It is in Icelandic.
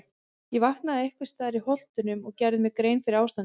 Ég vaknaði einhvers staðar í Holtunum og gerði mér grein fyrir ástandinu.